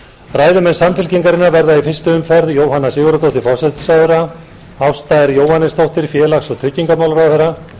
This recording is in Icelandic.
ræðumenn samfylkingarinnar verða í fyrstu umferð jóhanna sigurðardóttir forsætisráðherra ásta r jóhannesdóttir félags og tryggingamálaráðherra